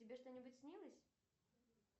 тебе что нибудь снилось